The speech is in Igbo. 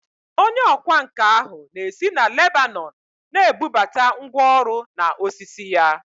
Onye ọkwá nkà ahụ na-esi na Lebanọn na-ebubata ngwá ọrụ na osisi ya